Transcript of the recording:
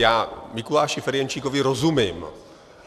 Já Mikuláši Ferjenčíkovi rozumím.